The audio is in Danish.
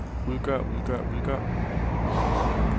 udgør udgør udgør